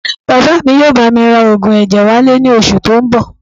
Bàbá mi yóò bá mi ra oògùn ẹ̀jẹ̀ wálé ní oṣù tó ń bọ̀